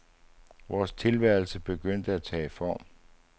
Vores tilværelse begyndte at tage form.